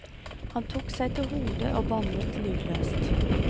Han tok seg til hodet og bannet lydløst.